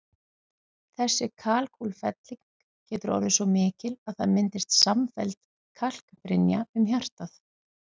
Þessi kalkútfelling getur orðið svo mikil að það myndist samfelld kalkbrynja um hjartað.